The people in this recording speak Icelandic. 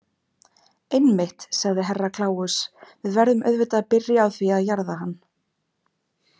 Einmitt, sagði Herra Kláus, við verðum auðvitað að byrja á því að jarða hann.